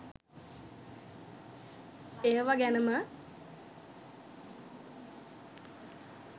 ඒවා ගැනම